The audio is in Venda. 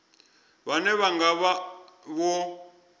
vhane vha nga vha vho